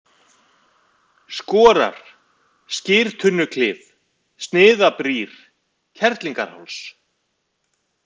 Skorar, Skyrtunnuklif, Sniðabrýr, Kerlingarháls